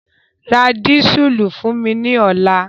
Ra dísùlù fún mi ní ọ̀la!